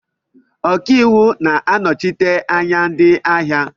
Ọkaiwu na-anọchite anya ndị ahịa